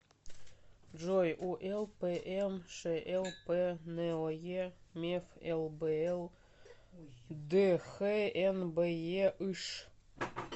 джой улпмшлп ное меф лбл дхнбеыш